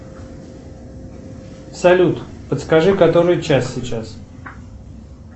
салют подскажи который час сейчас